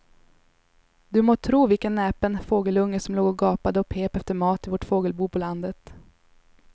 Du må tro vilken näpen fågelunge som låg och gapade och pep efter mat i vårt fågelbo på landet.